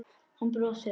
Hann brosir.